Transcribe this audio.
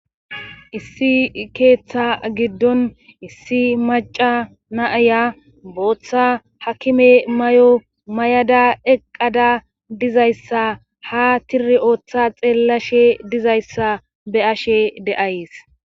issi keeththa giddon issi maca naaya booththa hakime may7o may7ada eqqada dizayssa ha tiri ooththa xeellashe dizayssa be ashe de7ays